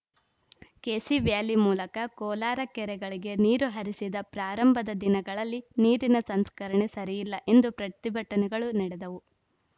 KC valley ಮೂಲಕ ಕೋಲಾರ ಕೆರೆಗಳಿಗೆ ನೀರು ಹರಿಸಿದ ಪ್ರಾರಂಭದ ದಿನಗಳಲ್ಲಿ ನೀರಿನ ಸಂಸ್ಕರಣೆ ಸರಿಯಿಲ್ಲ ಎಂದು ಪ್ರತಿಭಟನೆಗಳು ನಡೆದವು